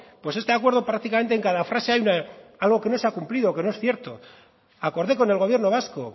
pues este acuerdo prácticamente en cada frase hay algo que no se ha cumplido que no es cierto acordé con el gobierno vasco